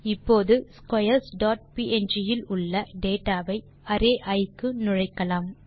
இப்போது squares dot png இல் உள்ள டேட்டா வை அரே இ இக்கு நுழைக்கலாம்